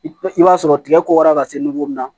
I b'a sɔrɔ tigɛ kora ka se mun na